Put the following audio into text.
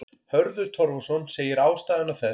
Hörður Torfason segir ástæðuna þessa.